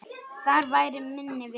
Þar væri minni vindur.